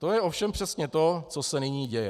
To je ovšem přesně to, co se nyní děje.